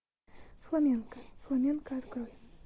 фламенко фламенко открой